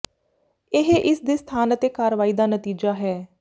ਇਹ ਇਸ ਦੇ ਸਥਾਨ ਅਤੇ ਕਾਰਵਾਈ ਦਾ ਨਤੀਜਾ ਹੈ